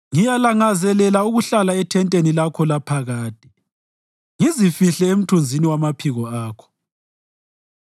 Ngiyalangazelela ukuhlala ethenteni lakho laphakade ngizifihle emthunzini wamaphiko akho.